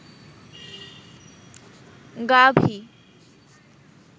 গাভী